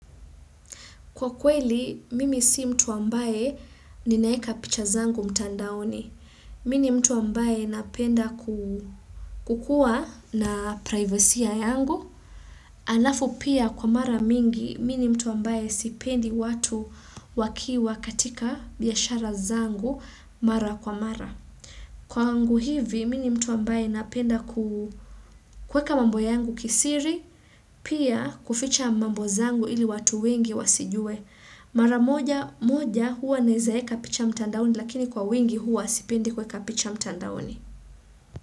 Kwa kweli, mimi si mtu ambaye ninaeka picha zangu mtandaoni. Mini mtu ambaye napenda kukuwa na privacy ya yangu. Alafu pia kwa mara mingi, mini mtu ambaye sipendi watu wakiwa katika biashara zangu mara kwa mara. Kwangu hivi, mini mtu ambaye napenda kuweka mambo yangu kisiri, pia kuficha mambo zangu ili watu wengi wasijue. Maramoja moja huwa naeza weka picha mtandaoni lakini kwa wingi huwa sipendi kuweka picha mtandaoni.